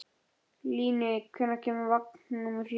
Líni, hvenær kemur vagn númer fjögur?